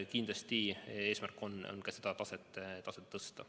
Kindlasti on eesmärk ka seda taset tõsta.